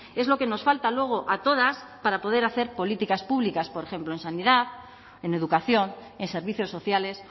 es lo que nos falta luego a todas para poder hacer políticas públicas por ejemplo en sanidad en educación en servicios sociales